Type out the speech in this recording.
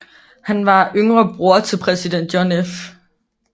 Han var yngre bror til præsident John F